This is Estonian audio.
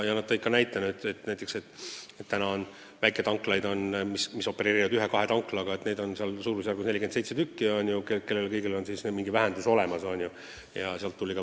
Nad tõid näiteks, et meil on väikeettevõtjaid, kes opereerivad ühe-kahe tanklaga, vist 47 tükki ja neil kõigil on tagatist mingil määral vähendatud.